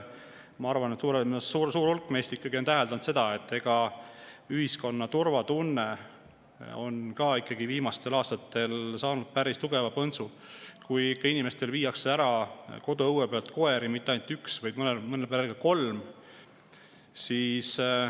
Ma arvan, et suur hulk meist on täheldanud, et ühiskonna turvatunne on saanud viimastel aastatel päris tugeva põntsu, kui inimestel viiakse koduõue pealt koeri ära – ja mitte ainult üks, vaid mõnel perel ka kolm.